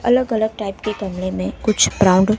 अलग अलग टाइप के कमरे मे कुछ क्राउड --